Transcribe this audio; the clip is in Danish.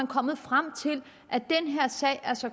kommet frem til at den her sag er så